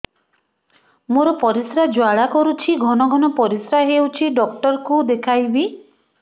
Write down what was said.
ମୋର ପରିଶ୍ରା ଜ୍ୱାଳା କରୁଛି ଘନ ଘନ ପରିଶ୍ରା ହେଉଛି ଡକ୍ଟର କୁ ଦେଖାଇବି